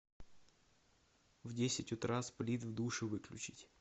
в десять утра сплит в душе выключить